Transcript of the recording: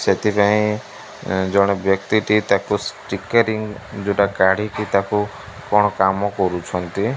ସେଥିପାଇଁ ଜଣେ ବ୍ୟକ୍ତିଟି ତାକୁ ଷ୍ଟିକେରିଙ୍ଗ୍ ଯୋଉଟା କାଢ଼ିକି କ'ଣ କାମ କରୁଛନ୍ତି।